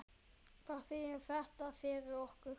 Hvað þýðir þetta fyrir okkur?